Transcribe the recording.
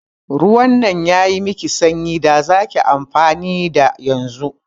Ruwan nan yayi miki sanyi da zaki amfani da yanzu.